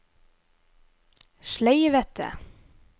sleivete